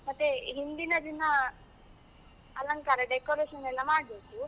ಮತ್ತೆ ಹಿಂದಿನ ದಿನ, ಅಲಂಕಾರ, decoration ಎಲ್ಲ ಮಾಡಬೇಕು.